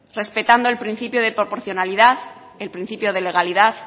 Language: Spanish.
respetando el principio de proporcionalidad el principio de legalidad